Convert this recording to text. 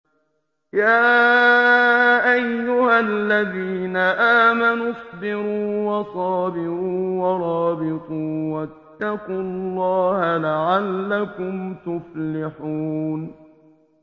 يَا أَيُّهَا الَّذِينَ آمَنُوا اصْبِرُوا وَصَابِرُوا وَرَابِطُوا وَاتَّقُوا اللَّهَ لَعَلَّكُمْ تُفْلِحُونَ